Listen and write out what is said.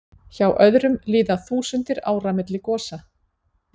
Hjá öðrum líða þúsundir ára milli gosa.